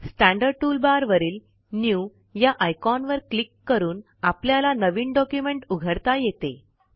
standard toolbar वरील new या आयकॉनवर क्लिक करून आपल्याला नवीन डॉक्युमेंट उघडता येते